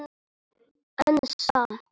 En samt